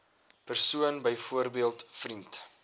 persoon byvoorbeeld vriend